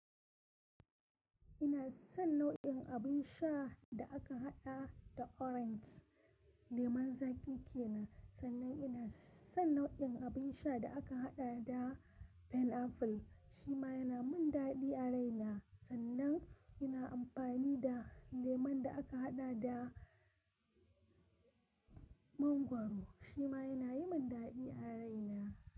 Ina son nau'in abin sha da aka haɗa da orange. Lemon zaƙi ke nan, sannan ina son nau'in abin sha da aka haɗa da pineapple shi ma yana min daɗi a raina. Sannan ina amfani da lemon da aka haɗa da mangwaro shi ma yana yi min daɗi a raina.